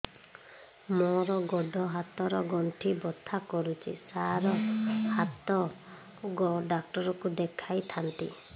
ମୋର ଗୋଡ ହାତ ର ଗଣ୍ଠି ବଥା କରୁଛି ସାର ହାଡ଼ ଡାକ୍ତର ଙ୍କୁ ଦେଖାଇ ଥାନ୍ତି